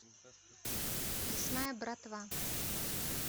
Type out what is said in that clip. лесная братва